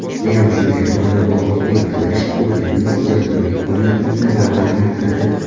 Zero shunday o‘zaro bog‘liqlik qidirish xususiyatimiz ijodkorlik faoliyatimizni rag‘batlantiradi.